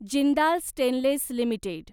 Jindal stainless limited